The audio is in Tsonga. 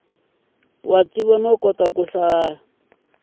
wa tiva no kota ku